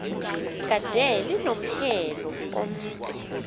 kade linomhelo omde